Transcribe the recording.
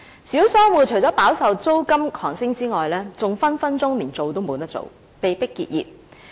小商戶除飽受租金狂升外，更隨時甚至無法經營，被迫結業。